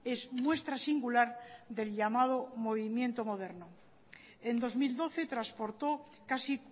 es muestra singular del llamado movimiento moderno en dos mil doce transportó casi